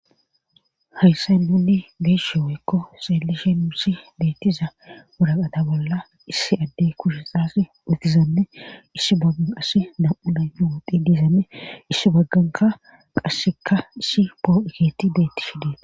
hayssan nunni be'ishe woykko xeelishe nusi beettiza wuraqata bolla issi adde kushe xaassi utizanne ishi baggan qas nam7u dan wodhi diizame isi bagganka qasseka issi pooqe keethiy beettishe des